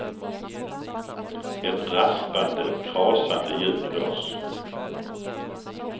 Ett raspande, krasande ljud hörs.